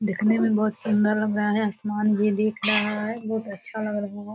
दिखने में बहुत सुंदर लग रहा है। आसमान भी दिख रहा है। बहुत अच्छा लग रहा है।